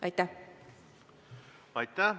Aitäh!